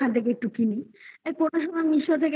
একটু কিনি. এই কোনসময় meesho থেকে কোন সময়